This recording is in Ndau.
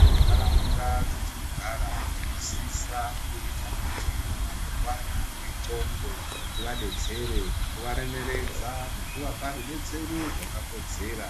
Mundaraunda dzatinogara tinosisa kuita kuti vanorwara ngendxonxo tivadetsere nekuvaremeredza nekuvapa rudetsero rwakakodzera